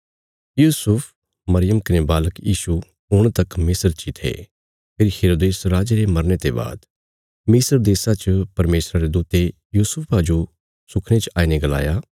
यूसुफ मरियम कने बालक यीशु हुण तक मिस्र ची थे फेरी हेरोदेस राजे रे मरने ते बाद मिस्र देशा च परमेशरा रे दूते यूसुफा जो सुखने च आईने गलाया